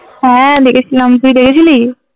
হ্যাঁ দেখেছিলাম তুই দেখেছিলি?